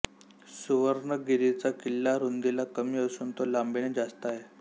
सुर्वणगिरीचा किल्ला रुंदीला कमी असून तो लांबीने जास्त आहे